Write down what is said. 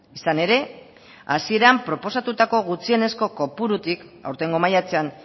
izan ere hasieran proposatutako gutxienezko kopururik aurtengo maiatzean